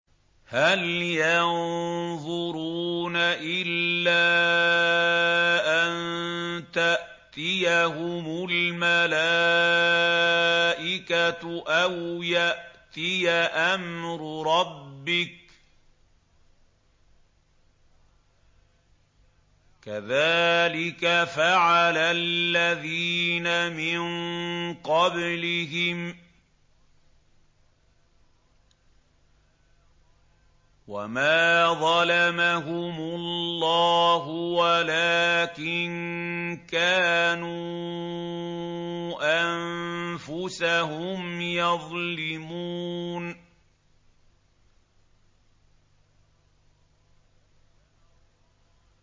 هَلْ يَنظُرُونَ إِلَّا أَن تَأْتِيَهُمُ الْمَلَائِكَةُ أَوْ يَأْتِيَ أَمْرُ رَبِّكَ ۚ كَذَٰلِكَ فَعَلَ الَّذِينَ مِن قَبْلِهِمْ ۚ وَمَا ظَلَمَهُمُ اللَّهُ وَلَٰكِن كَانُوا أَنفُسَهُمْ يَظْلِمُونَ